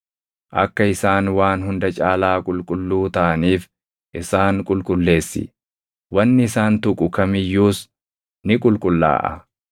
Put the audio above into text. Akka isaan waan hunda caalaa qulqulluu taʼaniif isaan qulqulleessi; wanni isaan tuqu kam iyyuus ni qulqullaaʼa.